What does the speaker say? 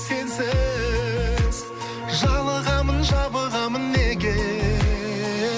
сенсіз жалығамын жабығамын неге